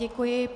Děkuji.